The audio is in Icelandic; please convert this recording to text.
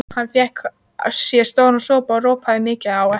Hann fékk sér stóran sopa og ropaði mikið á eftir.